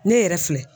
Ne yɛrɛ filɛ